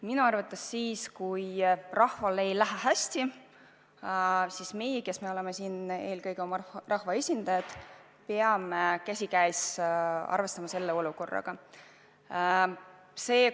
Minu arvates siis, kui rahval ei lähe hästi, peame meie, kes me oleme siin eelkõige oma rahva esindajad, teistega käsikäes selle olukorraga arvestama.